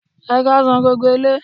Ẹ káàsán gbogbo ilé